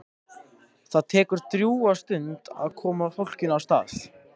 Það tekur drjúga stund að koma fólkinu af stað.